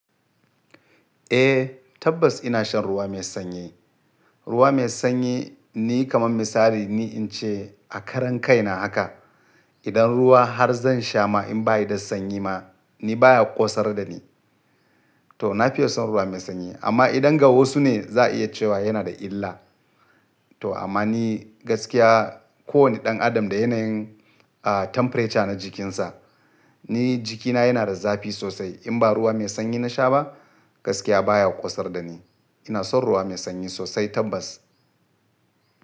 Eh, tabbas ina shan ruwa mai sanyi. Ruwa mai sanyi ni kamar misali ni in ce a karan kai na haka, idan ruwa har zan sha ma in baya da sanyi ma ni baya ƙosar da ni. To na fi son ruwa mai sanyi. Amma idan ga wasu ne za a iya cewa yana da illa. To amma ni gaskiya ko wane ɗan adam da yanayin a temperature na jikinsa, ni jikina yana da zafi sosai. In ba ruwa mai sanyi na sha ba gaskiya baya ƙosar da ni. Ina son ruwa mai sanyi sosai tabbas.